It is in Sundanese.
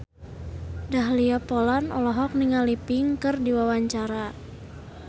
Dahlia Poland olohok ningali Pink keur diwawancara